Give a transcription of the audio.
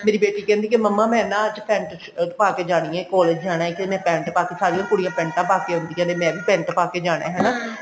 ਮੇਰੀ ਬੇਟੀ ਕਹਿੰਦੀ ਮੰਮਾ ਮੈਂ ਨਾ ਅੱਜ pent shirt ਪਾਕੇ ਜਾਣੀ ਹੈ collage ਜਾਣਾ ਤਾਂ ਮੈਂ pent ਪਾਕੇ ਸਾਰਿਆਂ ਕੁੜੀਆਂ ਪੈਂਟਾ ਪਾਕੇ ਆਉਂਦੀਆਂ ਨੇ ਮੈਂ ਵੀ pent ਪਾਕੇ ਜਾਣਾ ਹਨਾ